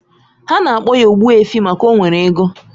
Ha na-akpo ya Ogbuefi maka o nwere ego